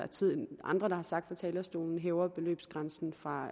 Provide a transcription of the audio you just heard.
andre har sagt fra talerstolen hæver man beløbsgrænsen fra